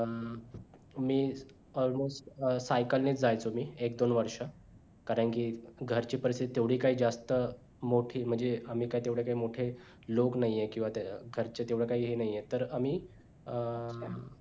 मी almost cycle ने जायचो मी एक दोन वर्ष कारण कि घरची परिस्थिती तेवढी काय जास्त मोठी म्हणजे आम्ही काय तेवढे मोठे लोक नाही आहे किंवा त्या अं घरचे तेवढं काही हे नाही आहे तर आम्ही